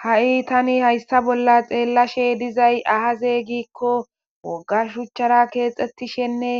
Ha'i tani hayssa bolla xeellashe dizay ahazeygikko wogga shuchchara keexxettishenne